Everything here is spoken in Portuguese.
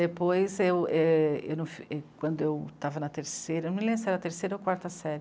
Depois, eu, é..., eu num f... e quando eu estava na terceira... Eu não me lembro se era a terceira ou quarta sér....